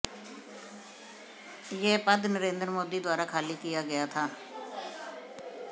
यह पद नरेंद्र मोदी द्वारा खाली किया गया था